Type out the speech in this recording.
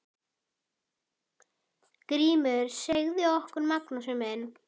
GRÍMUR: Segðu okkur, Magnús minn!